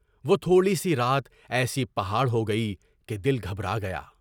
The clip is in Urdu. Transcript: وہ تھوڑی سی رات ایسی پہاڑ ہو کہ دل گھبرا گیا۔